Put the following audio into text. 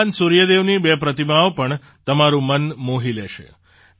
ભગવાન સૂર્ય દેવની બે પ્રતિમાઓ પણ તમારું મન મોહી લશે